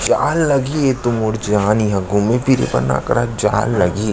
जाय ल लगही एतो मोर जान इहा घूमे फिरे बर न करा जाय लगही --